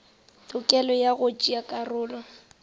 tokelo ya go tšea karolo